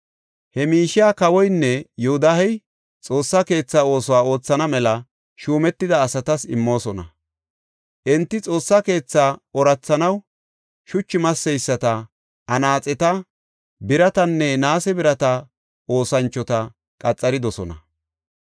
He miishiya kawoynne Yoodahey Xoossa keetha oosuwa oothana mela shuumetida asatas immoosona. Enti Xoossa keethaa oorathanaw shuchu masseyisata, anaaxeta, biratanne naase birata oosanchota qaxaridosona.